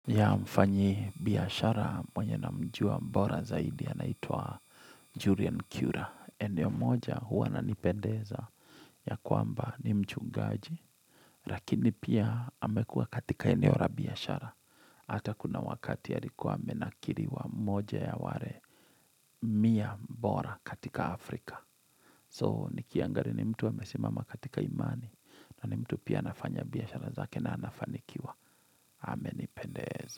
Yea mfanyi biashara mwenye namjua mbora zaidi ya anaitwa Julian Cura. Eneo moja huwa ananipendeza ya kwamba ni mchungaji. Rakini pia amekuwa katika eneo ra biashara. Ata kuna wakati ya alikuwa amenakiriwa moja ya ware mia bora katika Afrika. So, nikiangaria ni mtu amesimama katika imani. Na ni mtu pia anafanya biashara zake na anafanikiwa. Amenipendeza.